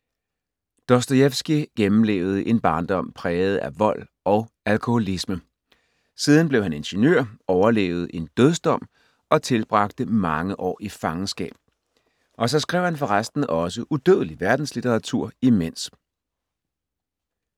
Dostojevskij gennemlevede en barndom præget af vold og alkoholisme. Siden blev han ingeniør, overlevede en dødsdom og tilbragte mange år i fangenskab. Og så skrev han forresten også udødelig verdenslitteratur imens.